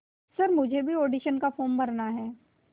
sir मुझे भी audition का फॉर्म भरना है